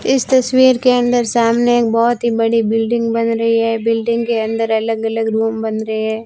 इस तस्वीर के अंदर सामने एक बहुत ही बड़ी बिल्डिंग बन रही है बिल्डिंग के अंदर अलग अलग रूम बन रहे है।